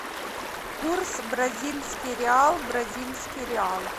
курс бразильский реал бразильский реал